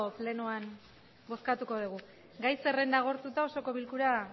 plenoan bozkatuko dugu gai zerrenda agortuta osoko bilkura